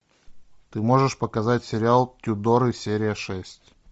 ты можешь показать сериал тюдоры серия шесть